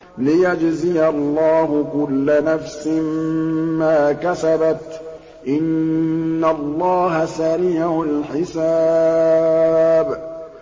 لِيَجْزِيَ اللَّهُ كُلَّ نَفْسٍ مَّا كَسَبَتْ ۚ إِنَّ اللَّهَ سَرِيعُ الْحِسَابِ